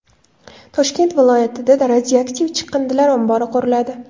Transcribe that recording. Toshkent viloyatida radioaktiv chiqindilar ombori quriladi.